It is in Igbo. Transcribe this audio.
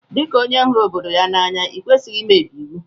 Di ka onye huru obodo ya n'anya ikwesighi imebi iwu.